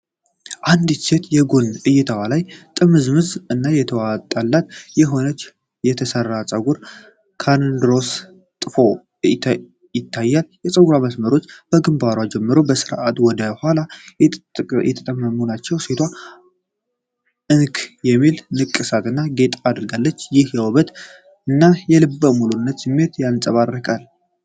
አንዲት ሴት የጎን እይታዋ ላይ ጥምዝምዝ እና የተዋጣለት የሆነ የተሠራ ፀጉር (ኮርንሮውስ/ጥፎ) ይታያል። የፀጉሩ መስመሮች ከግንባሯ ጀምረው በስርዓት ወደ ኋላ የተጠመጠሙ ናቸው። ሴቷ አንክ የሚል ንቅሳት እና ጌጥ አድርጋለች፤ ይህም የውበትን እና የልበ ሙሉነትን ስሜት ያንጸባርቃል።